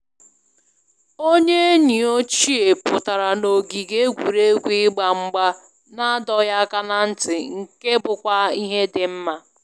Onye enyi ochie pụtara na ogige egwuregwu ịgba mgba na adọghị aka na ntị, nke bụkwa ihe dị mma